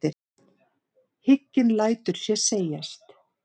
Hygginn lætur sér segjast.